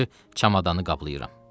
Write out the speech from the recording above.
Gördü çamadanı qaplayıram.